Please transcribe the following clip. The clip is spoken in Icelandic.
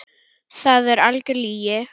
Það er algjör lygi.